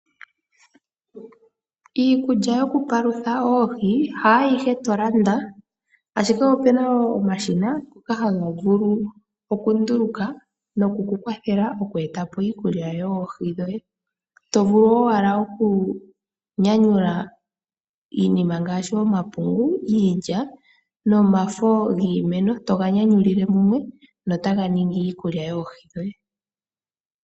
Iikulya yoku palutha oohi ha yihe tolanda ashike opuna omashina ngoka haga vulu oku nduluka noku kukwathela oku etapo iikulya yoohi dhoye, tovulu wo owala oku nyanyula iinima ngashi omapungu, iilya nomafo giimeno toga nyanyulile mumwe notaga ningi iikulya yoohi dhoye.